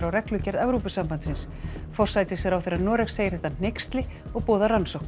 á reglugerð Evrópusambandsins forsætisráðherra Noregs segir þetta hneyksli og boðar rannsókn